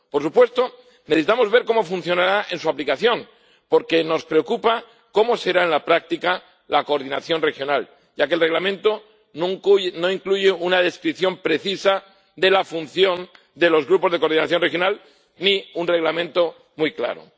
Por supuesto, necesitamos ver cómo funcionará en su aplicación, porque nos preocupa cómo será en la práctica la coordinación regional, ya que el Reglamento no incluye una descripción precisa de la función de los grupos de coordinación regional ni un Reglamento muy claro.